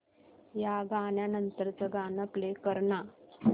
या गाण्या नंतरचं गाणं प्ले कर ना